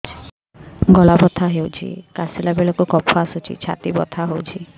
ଗଳା ବଥା ହେଊଛି କାଶିଲା ବେଳକୁ କଫ ଆସୁଛି ଛାତି ବଥା ହେଉଛି